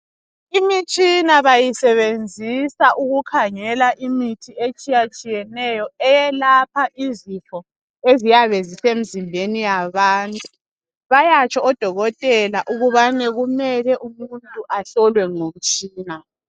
Imitshina bayisebenzisa ukukhangela imithi etshiyatshiyeneyo eyalapha izifo eziyabe zisemzimbeni yabantu bayatsho odokotela ukubana kumele umuntu ahlolwe ngomtshina.